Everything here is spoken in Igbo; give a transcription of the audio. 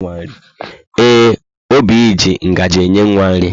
Ee, Oby ji ngaji nye nwa nri.